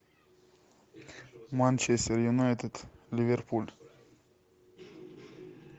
манчестер юнайтед ливерпуль